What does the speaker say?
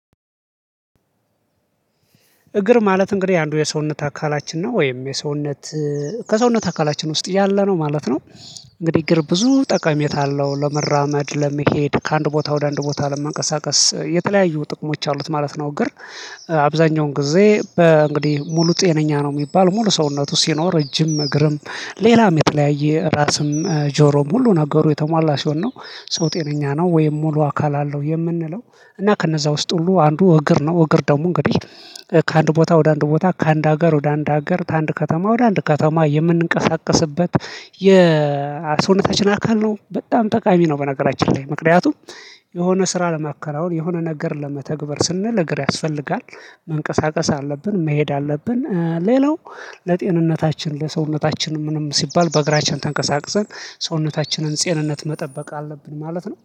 እግር ማለት እንግዲህ አንዱ የሰውነት አካላችን ነው ወይም የሰውነት ከሰውነት አካላችን ውስጥ ያለ ነው ማለት ነው። እንግዲህ እግር ብዙ ጠቀሜታ አለው ለመራመድ ለመሄድ ከአንድ ቦታ ወደ አንድ ቦታ ለመንቀሳቀስ የተለያዩ ጥቅሞች አሉት ማለት ነው። እግር አብዛኛውን ጊዜ በእንግዲህ ሙሉ ጤነኛ ነው የሚባል ሙሉ ሰውነቱ ሲኖር ረጅም እግርም ሌላም የተለያየ ራስም ጆሮም ሁሉ ነገሩ የተሟላ ሲሆን ነው። ሰው ጤነኛ ነው ወይም ሙሉ አካል አለው የምንለው። እና ከነዛ ውስጥ ሁሉ አንዱ እግር ነው። እግር ደግሞ እንግዲህ ከአንድ ቦታ ወደ አንድ ቦታ ከአንድ ሀገር ወደ አንድ ሀገር ከአንድ ከተማ ወደ አንድ ከተማ የምንንቀሳቀስበት የሰውነታችን አካል ነው በጣም ጠቃሚ ነው። በነገራችን ላይ ምክንያቱም የሆነ ስራ ለማከናወን የሆነ ነገር ለመተግበር ስንል እግር ያስፈልጋል። መንቀሳቀስ አለብን መሄድ አለብን። ሌላው ለጤንነታችን ለሰውነታችን ምንም ሲባል በእግራችን ተንቀሳቅሰን ሰውነታችንን ጤንነት መጠበቅ አለብን ማለት ነው